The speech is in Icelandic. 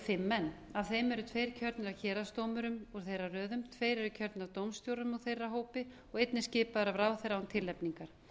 fimm menn af þeim eru tveir kjörnir af héraðsdómurum úr þeirra röðum tveir eru kjörnir af dómstjórum úr þeirra hópi og einn er skipaður af ráðherra án tilnefningar